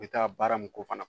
I bɛ taa baara mun k'o fana